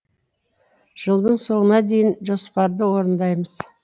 жылдың соңына дейін жоспарды орындаймыз